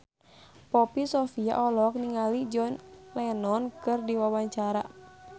Poppy Sovia olohok ningali John Lennon keur diwawancara